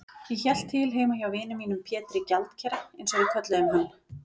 Ég hélt til heima hjá vini mínum Pétri gjaldkera, einsog við kölluðum hann.